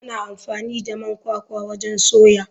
Ana amfani da man kwakwa wajen soya.